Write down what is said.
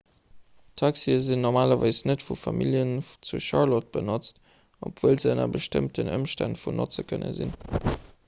taxie ginn normalerweis net vu familljen zu charlotte genotzt obwuel se ënner bestëmmten ëmstänn vun notze kënne sinn